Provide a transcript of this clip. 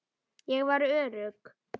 Ég var örugg.